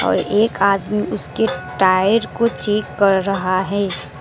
और एक आदमी उसके टायर को चेक कर रहा है।